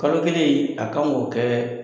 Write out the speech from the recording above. Kalo kelen in a kan k'o kɛ